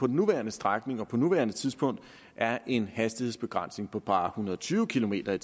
nuværende strækning og på nuværende tidspunkt er en hastighedsbegrænsning på bare hundrede og tyve kilometer